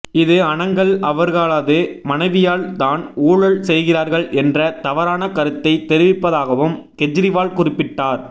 இது அனங்கள் அவர்களது மனைவியால் தான் ஊழல் செய்கிறார்கள் என்ற தவறான கருத்தை தெரிவிப்பதாகவும் கெஜ்ரிவால் குறிப்பிட்டார்